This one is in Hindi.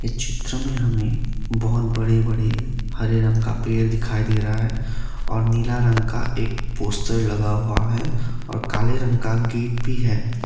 इस चित्र में हमें बहुत बड़े बड़े हरे रंग का पेड़ दिखाई दे रहा है और नीला रंग का एक पोस्टर लगा हुआ है और काले रंग का गेट भी है।